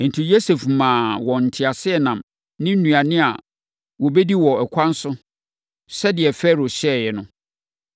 Enti, Yosef maa wɔn nteaseɛnam ne nnuane a wɔbɛdi wɔ ɛkwan so, sɛdeɛ Farao hyɛeɛ no.